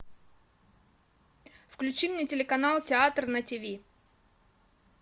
включи мне телеканал театр на тиви